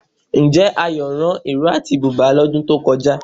Ǹjẹ́ Ayọ̀ rán ìró àti bùbá lọ́dún tó kọjá?